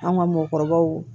An ka mɔkɔw